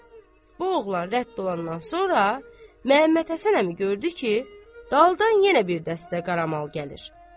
Bu oğlan rədd olandan sonra Məmmədhəsən əmi gördü ki, daldan yenə bir dəstə qaramal gəlir.